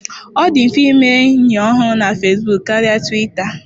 Ọ dị mfe ime enyi ọhụrụ na Fesbuk karịa Twita.